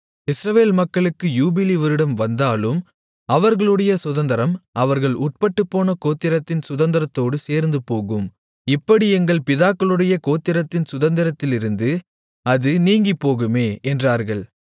இஸ்ரவேல் மக்களுக்கு யூபிலி வருடம் வந்தாலும் அவர்களுடைய சுதந்தரம் அவர்கள் உட்பட்டுப்போன கோத்திரத்தின் சுதந்தரத்தோடு சேர்ந்துபோகும் இப்படி எங்கள் பிதாக்களுடைய கோத்திரத்தின் சுதந்தரத்திலிருந்து அது நீங்கிப்போகுமே என்றார்கள்